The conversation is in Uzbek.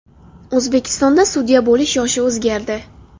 O‘zbekistonda sudya bo‘lish yoshi o‘zgardi.